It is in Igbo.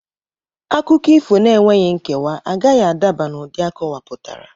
Akụkọ ifo n'enweghị nkewa agaghị adaba n'ụdị akọwapụtara.